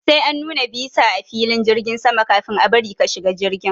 Sai an nuna bisa a filin jirgin sama kafin a bari ka shiga jirgi.